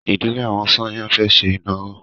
Ìdílé àwọn Sànyà fẹ́ ṣe ìnáwó.